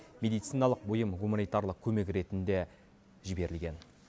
медициналық бұйым гуманитарлық көмек ретінде жіберілген